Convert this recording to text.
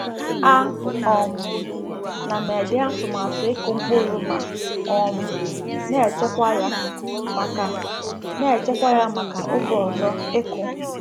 A um na m ede atụmatụ ịkụ mkpụrụ ma um na-echekwa ya maka na-echekwa ya maka oge ọzọ ịkụ.